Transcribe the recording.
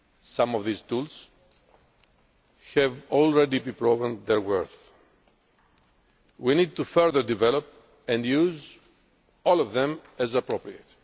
Some of these tools have already proved their worth. We need to further develop and use all of them as appropriate.